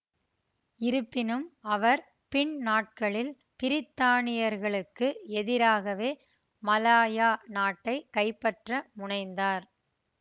இருப்பினும் அவர் பின்னாட்களில் பிரித்தானியர்களுக்கு எதிராகவே மலாயா நாட்டை கைப்பற்ற முனைந்தார்